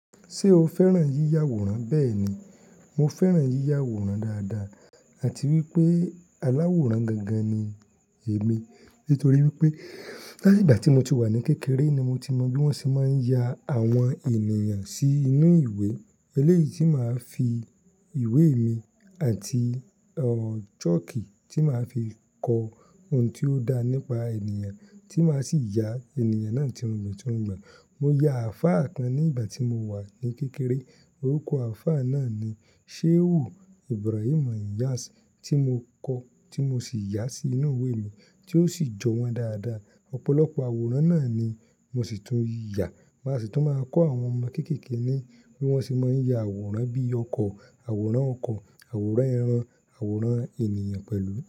Ṣé o fẹ́ràn yíya àwòrán? Bẹ́ẹ̀ ni, mo fẹ́ràn yíya àwòrán dáadáa àti wípé aláwòrán gangan ni èmi. Nítorí wípé láti ìgbà tí mo ti wà ní kékeré ni mo ti mọ bí wón ṣe máa ń ya àwọn ènìyàn sí inú ìwé eléyìí tí màá fi ìwé mi àti ò sọ́ọ̀kì tí màá fi kọ ohun tí ó dá nípa ènìyàn tí màá sì yà ènìyàn náà tirungbon tirungbon. Mo ya àfá kán ní ìgbà tí mo wà ní kékeré orúkọ àfá náà ni Shehu Ibrahim Nyas tí mo kọ tí mo sì yà sí inú ìwé mi tí ó sì jọ wọ́n dáadáa. Ọ̀pọ̀lọpọ̀ àwòrán náà ni mo sì tún yà, màá sì tún máa kọ àwọn ọmọ kéékèèké ní bí wọ́n ṣe máa ń ya àwòrán bí i ọkọ̀, àwòrán ọkọ̀, àwòrán ẹran, àwòrán ènìyàn pẹ̀lú.